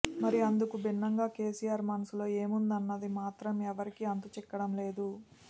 మరి అందుకు భిన్నంగా కేసీఆర్ మనసులో ఏముందన్నది మాత్రం ఎవరికీ అంతు చిక్కడం లేదు